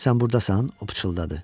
Sən burdasan, o pıçıldadı.